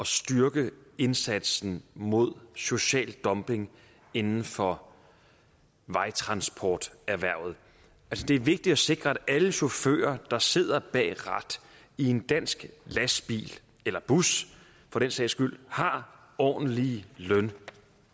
styrke indsatsen mod social dumping inden for vejtransporterhvervet det er vigtigt at sikre at alle chauffører der sidder bag et rat i en dansk lastbil eller bus for den sags skyld har ordentlige løn